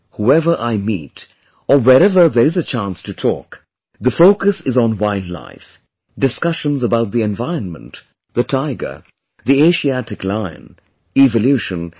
Whoever I meet or wherever there is a chance to talk, the focus is on Wildlife, discussions about the environment, the Tiger, the Asiatic Lion, evolution etc